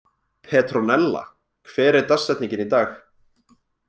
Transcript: Petronella, hver er dagsetningin í dag?